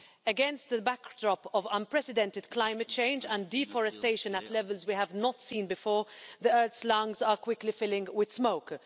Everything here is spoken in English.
Against the backdrop of unprecedented climate change and deforestation at levels we have not seen before, the earth's lungs are quickly filling with smoke.